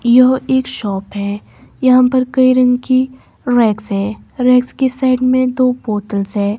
यह एक शॉप है यहाँ पर कई रंग की रेक्स है रेक्स के साइड में दो बोतल्स है।